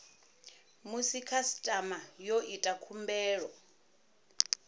musi khasitama yo ita khumbelo